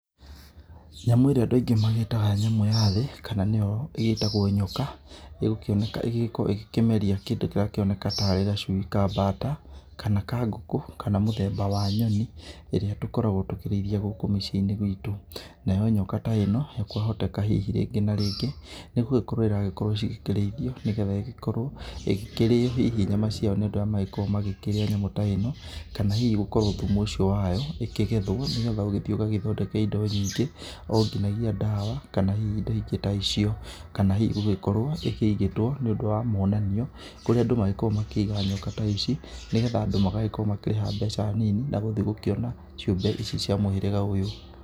Nyamũ ĩrĩa andũ aingĩ mamĩĩtaga nyamũ ya thĩ, kana nĩyo ĩgĩĩtagũo nyoka, ĩgũkĩoneka ĩgĩkĩenda gũkĩmeria kĩndũ kĩrakĩoneka tarĩ gacui ka mbata, kana ka ngũkũ, kana mũthemba wanyoni ĩrĩa tũgĩkoragũo tũkĩrĩithia gũkũ mũciĩ-inĩ witũ. Nayo nyoka ta ĩno kwa hoteka rĩngĩ na rĩngĩ nĩ gũgĩkorũo iragĩkorũo cikĩ rĩithio, nĩgetha ĩgĩkĩrĩyo hihi nyama ciayo nĩ andũ arĩa magĩkoragũo makĩrĩa nyamũ ta ĩno. Kana hihi thumu ũcio wayo ũkĩgethũo nĩgetha ũgagĩthiĩ ũgagĩthondeke indo nyingĩ o nginagia ndawa, kana hihi indo ingĩ ta icio, kana hihi gũgĩkorũo ĩkĩigĩtwo nĩ ũndũ wa mwonanio kũrĩa andũ magĩkoragũo makĩiga nyoka ta ici, nĩgetha andũ magagĩkorũo makĩrĩha mbeca nini na gũthi gũkĩona ciũmbe ici cia mũhĩrĩga ũyũ.